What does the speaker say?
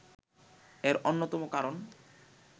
এর অন্যতম কারণ